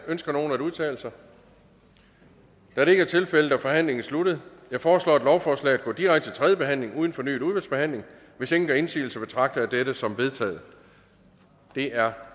ønsker nogen at udtale sig da det ikke er tilfældet er forhandlingen sluttet jeg foreslår at lovforslaget går direkte til tredje behandling uden fornyet udvalgsbehandling hvis ingen gør indsigelse betragter jeg dette som vedtaget det er